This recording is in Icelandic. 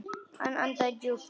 Hann andaði djúpt.